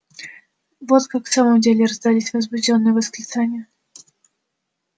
вот как в самом деле раздались возбуждённые восклицания